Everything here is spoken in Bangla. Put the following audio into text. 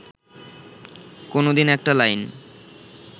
কোনোদিন একটা লাইন